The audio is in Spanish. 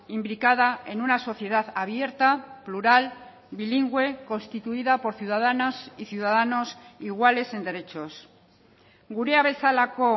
implicada en una sociedad abierta plural bilingüe constituida por ciudadanas y ciudadanos iguales en derechos gurea bezalako